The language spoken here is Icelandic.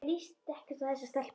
Mér líst ekkert á þessa stelpu.